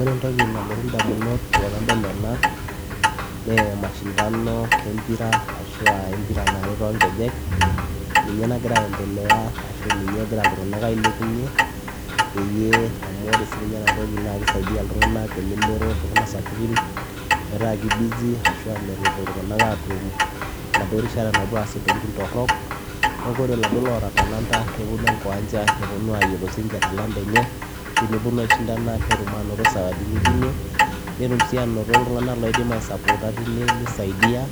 Oree entokii nadamuu tenadol enaa naa mashindano ee mpira ninyee nagiraa ayendelea igiraa ilntunganak aailepunyie amuu oree sii ninye enaa naa kisaidia olelero metaa metum erishataa napuoo aas intokitin torok neeku oree iladuoo ootaa talanta nepuonu ishindana netum sawadinii enye tine netum ilntunganak looi support ninje tine